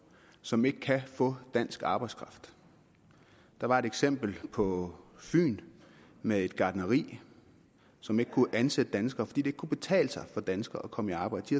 som ikke kan få dansk arbejdskraft der var et eksempel på fyn med et gartneri som ikke kunne ansætte danskere fordi ikke kunne betale sig for danskere at komme i arbejde de